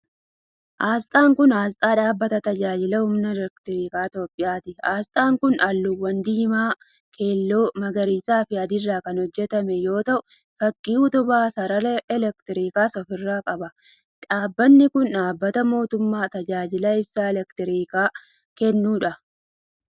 Asxaan kun, asxaa dhaabbata Tajaajila humna elektirikaa Itoophiyaati. Asxaan kun, halluuwwan diimaa keelloo, magariisa fi adii irraa kan hojjatame yoo ta'u, fakkii utubaa sarara elektirikaas of irraa qaba. Dhaabbanni kun, dhaabbata mootummaa tajaajila ibsaa elektirikaa kennuu dha.